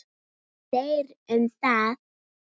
En þeir um það.